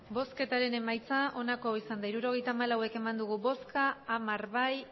emandako botoak hirurogeita hamalau bai hamar ez